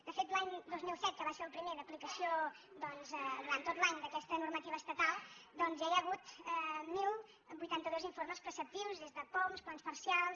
de fet l’any dos mil set que va ser el primer d’aplicació durant tot l’any d’aquesta normativa estatal ja hi ha hagut deu vuitanta dos informes preceptius des de poum plans parcials